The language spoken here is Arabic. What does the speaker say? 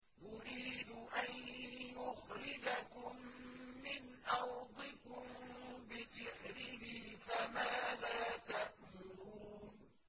يُرِيدُ أَن يُخْرِجَكُم مِّنْ أَرْضِكُم بِسِحْرِهِ فَمَاذَا تَأْمُرُونَ